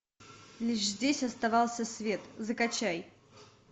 лишь здесь оставался свет закачай